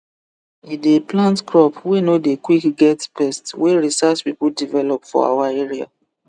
e dey plant crop wey no dey quick get pest wey research people develop for our area